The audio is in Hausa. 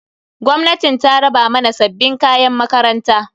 Gwamnatin ta raba mana sabbin kayan makaranta.